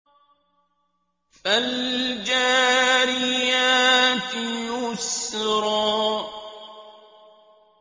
فَالْجَارِيَاتِ يُسْرًا